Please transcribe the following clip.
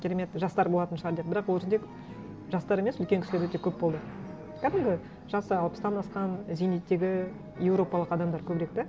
керемет жастар болатын шығар деп бірақ ол жерде жастар емес үлкен кісілер өте көп болды кәдімгі жасы алпыстан асқан зейнеттегі еуропалық адамдар көбірек да